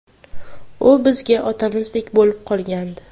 U bizga otamizdek bo‘lib qolgandi.